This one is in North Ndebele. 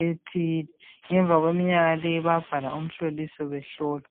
ethile. Ngemva kweminyaka leyo bayabhaliswa umhloliso behlolwa.